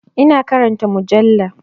Ina karanta mujalla.